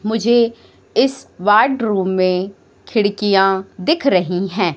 मुझे इस वार्डरूम में खिड़कियां दिख रही है।